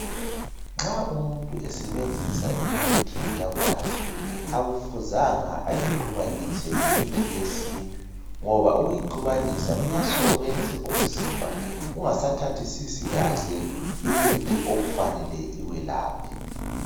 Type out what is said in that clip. Nxa umuntu esebenzisa imithi yamanje akufuzanga ayixubanise lemithi yesintu ngoba ukuyixubanisa kuyasuka kwenze umzimba ungasathathi kahle imithi okufanele iwelaphe.